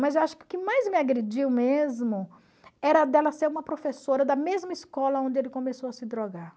Mas eu acho que o que mais me agrediu mesmo era dela ser uma professora da mesma escola onde ele começou a se drogar.